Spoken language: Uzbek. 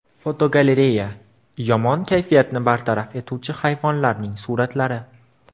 Fotogalereya: Yomon kayfiyatni bartaraf etuvchi hayvonlarning suratlari.